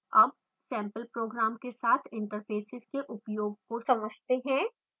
अब sample program के साथ interfaces के उपयोग को समझते हैं